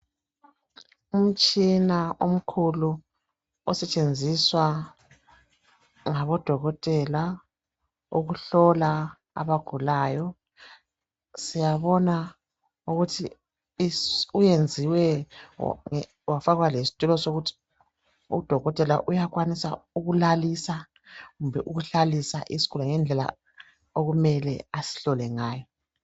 Umtshina omkhulu osetshenziswa ngabodokotela ukuhlola abagulayo, siyabona ukuthi uyenziwe wafakwa lesitulo sokuthi udokotela uyakwanisa ukulalisa kumbe ukuhlalisa isigulane ngendlela okumele asihlole ngayo.